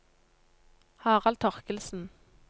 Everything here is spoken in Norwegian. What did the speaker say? Harald Torkildsen